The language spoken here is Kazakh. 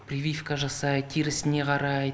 прививка жасайды терісіне қарайды